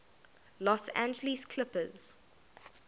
los angeles clippers